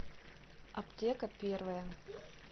аптека первая